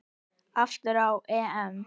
Aftur á EM.